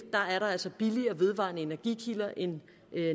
er der altså billigere vedvarende energikilder end